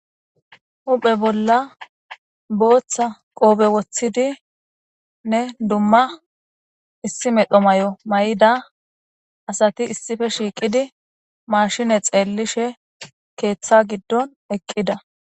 Huphe bolla botha qophe wotidinne duma duma issi medho mayo mayida asati issippe shiqidi mashine xelishe ketha gidon eqida